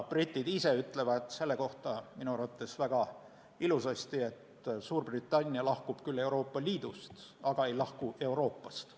Britid ise ütlevad selle kohta minu arvates väga ilusasti, et Suurbritannia lahkub küll Euroopa Liidust, aga ei lahku Euroopast.